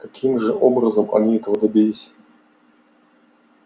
каким же образом они этого добились